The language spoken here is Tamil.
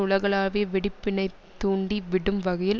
உலகளாவிய வெடிப்பினைத் தூண்டி விடும் வகையில்